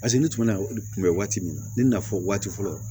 Paseke ne tun bɛna kunbɛ waati min na ne na fɔ waati fɔlɔ